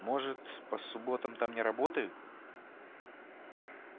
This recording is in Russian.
может по субботам там не работают